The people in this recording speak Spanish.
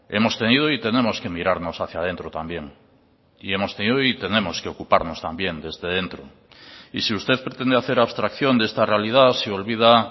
hemos tenido y tenemos que mirarnos hacia dentro también y hemos tenido y tenemos que ocuparnos también desde dentro y si usted pretende hacer abstracción de esta realidad se olvida